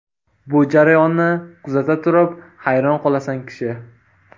Bu jarayonni kuzata turib, hayron qolasan kishi.